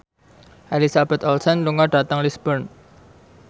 Elizabeth Olsen lunga dhateng Lisburn